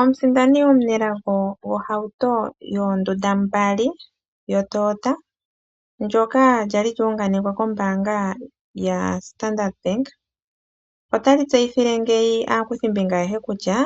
Omusindani omunelago gohauto yoondunda mbali yoToyota methigathano nyoka lya li lu unganekwa kombaanga yaStandard Bank otayi tseyithile ngeyi aaakuthimbinga ayehe kutya